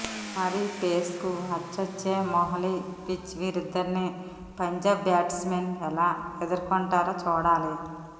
మరి పేస్కు అచ్చొచ్చే మొహాలీపిచ్ వీరిద్దరినీ పంజాబ్ బ్యాట్స్మెన్ ఎలా ఎదుర్కొంటారో చూడాలి